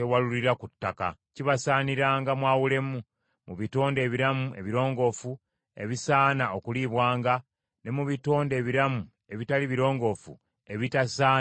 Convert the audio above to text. Kibasaaniranga mwawulemu, mu bitonde ebiramu ebirongoofu ebisaana okuliibwanga, ne mu bitonde ebiramu ebitali birongoofu ebitasaana kuliibwanga.”